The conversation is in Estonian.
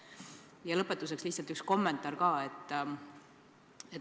Ja lõpetuseks lihtsalt üks kommentaar.